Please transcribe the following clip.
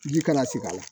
Ji kana sigi a la